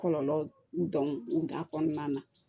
Kɔlɔlɔ dɔn na